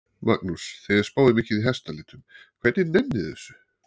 Magnús: Þið spáið mikið í hestalitum, hvernig nennið þið þessu?